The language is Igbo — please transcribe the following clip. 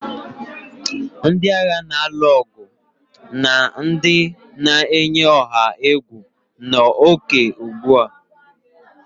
Ndị agha na-alụ ọgụ na ndị na-eyi ọha egwu n'ókè ugbu a